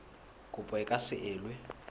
kopo e ka se elwe